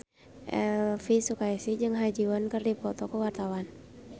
Elvy Sukaesih jeung Ha Ji Won keur dipoto ku wartawan